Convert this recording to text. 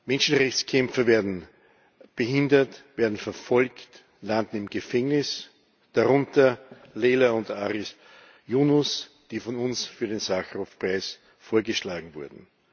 Menschenrechtskämpfer werden behindert, werden verfolgt, landen im Gefängnis, darunter Leyla und Aris Yunus, die von uns für den Sacharow Preis vorgeschlagen wurden.